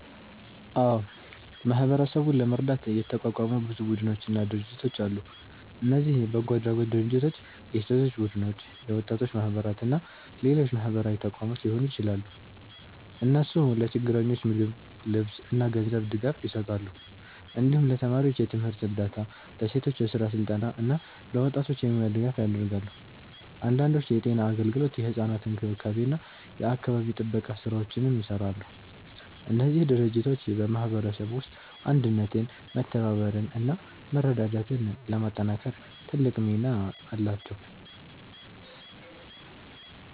አዎ፣ ማህበረሰቡን ለመርዳት የተቋቋሙ ብዙ ቡድኖችና ድርጅቶች አሉ። እነዚህ በጎ አድራጎት ድርጅቶች፣ የሴቶች ቡድኖች፣ የወጣቶች ማህበራት እና ሌሎች ማህበራዊ ተቋማት ሊሆኑ ይችላሉ። እነሱ ለችግረኞች ምግብ፣ ልብስ እና ገንዘብ ድጋፍ ይሰጣሉ። እንዲሁም ለተማሪዎች የትምህርት እርዳታ፣ ለሴቶች የስራ ስልጠና እና ለወጣቶች የሙያ ድጋፍ ያደርጋሉ። አንዳንዶቹ የጤና አገልግሎት፣ የሕፃናት እንክብካቤ እና የአካባቢ ጥበቃ ስራዎችንም ይሰራሉ። እነዚህ ድርጅቶች በማህበረሰቡ ውስጥ አንድነትን፣ መተባበርን እና መረዳዳትን ለማጠናከር ትልቅ ሚና አላቸው።